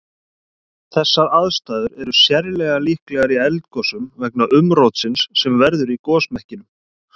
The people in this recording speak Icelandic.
Þessar aðstæður er sérlega líklegar í eldgosum vegna umrótsins sem verður í gosmekkinum.